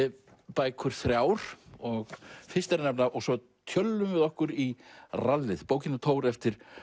bækur þrjár og fyrst er að nefna og svo tjöllum við okkur í rallið bókin um Thor eftir